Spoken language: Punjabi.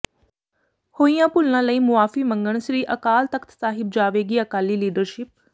ਹੋਈਆਂ ਭੁੱਲਾਂ ਲਈ ਮੁਆਫ਼ੀ ਮੰਗਣ ਸ੍ਰੀ ਅਕਾਲ ਤਖ਼ਤ ਸਾਹਿਬ ਜਾਵੇਗੀ ਅਕਾਲੀ ਲੀਡਰਸ਼ਿਪ